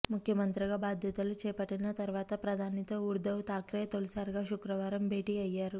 ముఖ్యమంత్రిగా బాధ్యతలు చేపట్టిన తర్వాత ప్రధానితో ఉద్ధవ్ థాక్రే తొలిసారిగా శుక్రవారం భేటీ అయ్యారు